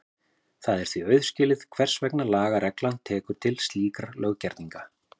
Það er því auðskilið hvers vegna lagareglan tekur til slíkra löggerninga.